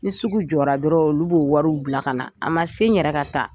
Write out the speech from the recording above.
Ni sugu jɔra dɔrɔn olu b'o wariw bila ka na a man se n yɛrɛ ka ta.